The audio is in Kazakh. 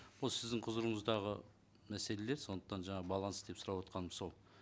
осы сіздің құзырыңыздағы мәселелер сондықтан жаңа баланс деп сұрап отырғаным сол